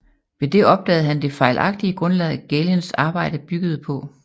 Ved det opdagede han det fejlagtige grundlag Galens arbejde byggede på